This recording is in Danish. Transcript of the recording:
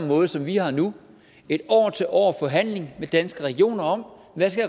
måde som vi har det nu en år til år forhandling med danske regioner om hvad